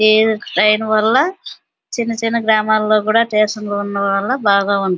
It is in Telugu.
ఈ ట్రైన్ వల్ల చిన్న చిన్న గ్రామంలో కూడా స్టేషన్లు ఉండడం వల్ల బాగా ఉంది --